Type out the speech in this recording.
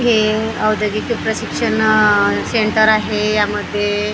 हे औद्योगिक प्रशिक्षण सेंटर आहे यामध्ये--